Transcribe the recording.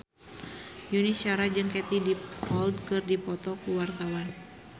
Yuni Shara jeung Katie Dippold keur dipoto ku wartawan